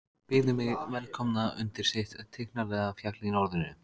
Byðu mig velkomna undir sitt tignarlega fjall í norðrinu.